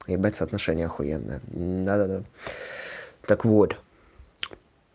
ебать соотношение ахуенное да да да так вот